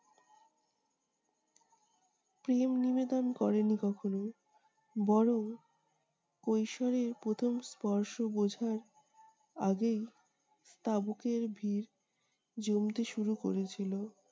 প্রেম নিবেদন করেনি কখনও। বরং কৈশোরের প্রথম স্পর্শ বোঝার আগেই তাবুকের ভিড় জমতে শুরু করেছিল-